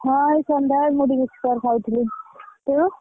ହଁ, ଆଉ ସନ୍ଧ୍ୟା ବେଳେ ମୁଡି ବିସ୍କୁଟ ଖାଇଥିଲି। ତୁ ?